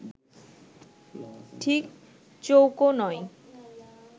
ঠিক চৌকোও নয়